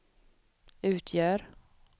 utgör